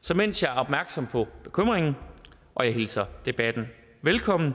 så mens jeg er opmærksom på bekymringen og hilser debatten velkommen